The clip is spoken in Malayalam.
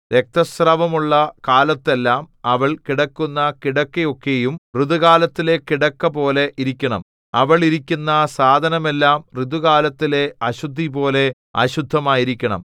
രക്തസ്രവമുള്ള കാലത്തെല്ലാം അവൾ കിടക്കുന്ന കിടക്കയൊക്കെയും ഋതുകാലത്തിലെ കിടക്കപോലെ ഇരിക്കണം അവൾ ഇരിക്കുന്ന സാധനമെല്ലാം ഋതുകാലത്തിലെ അശുദ്ധിപോലെ അശുദ്ധമായിരിക്കണം